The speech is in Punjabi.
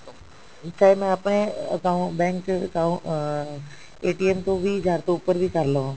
ਚਾਹੇ ਮੈਂ ਆਪਣੇ account bank account ਅਹ ਤੋਂ ਵੀ ਵੀਹ ਹਜ਼ਾਰ ਤੋਂ ਉੱਪਰ ਵੀ ਕਰ ਲਵਾਂ